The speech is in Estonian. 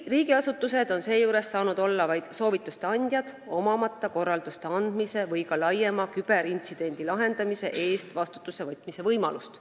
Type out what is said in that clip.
Riigiasutused on seejuures saanud olla vaid soovitajad, kuid neil ei ole olnud korralduste andmise või ka laiema küberintsidendi lahendamise eest vastutamise võimalust.